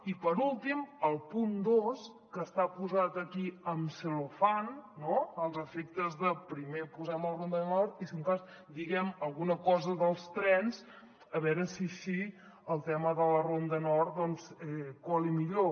i per últim el punt dos que està posat aquí amb cel·lofana no als efectes de primer posem la ronda nord i si un cas diguem alguna cosa dels trens a veure si així el tema de la ronda nord cola millor